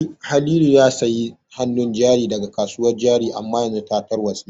Halilu ya sayi hanun jari daga kasuwar jari amma yanzu ta tarwatse